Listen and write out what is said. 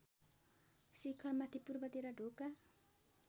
शिखरमाथि पूर्वतिर ढोका